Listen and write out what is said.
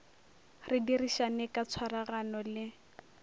re dirišane ka tshwaragano le